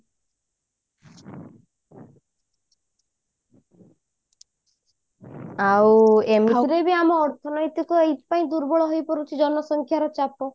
ଆଉ ଏମିତିରେ ବି ଆମ ଅର୍ଥନୈତିକ ଏଇଥି ପାଇଁ ଦୁର୍ବଳ ହେଇପଡୁଛି ଜନସଂଖ୍ୟା ର ଚାପ